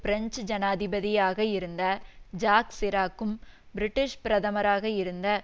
French ஜனாதிபதியாக இருந்த Jacques சிராக்கும் பிரிட்டிஷ் பிரதமராக இருந்த